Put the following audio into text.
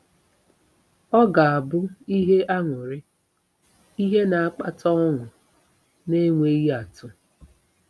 Ọ ga-abụ “ihe aṅụrị ,” ihe na-akpata ọṅụ na-enweghị atụ.